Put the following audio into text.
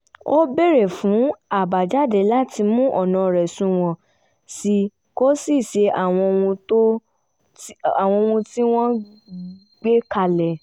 ó béèrè fún àbàjáde láti mú ọ̀nà rẹ̀ sunwọ̀n sí i kó sì ṣe àwọn ohun tí wọ́n gbé kalẹ̀